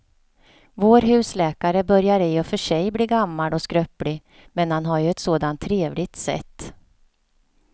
Vår husläkare börjar i och för sig bli gammal och skröplig, men han har ju ett sådant trevligt sätt!